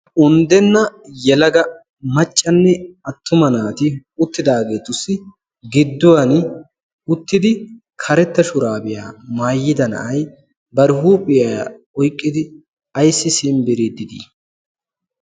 uundenna yelaga maccanne attuma naati uttidaagetussi giduwaani uttidi karetta shuraabiyaa maayida na"ay bari huuphiyaa oyqqidi aysi simbbirridi de"ii?